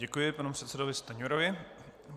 Děkuji panu předsedovi Stanjurovi.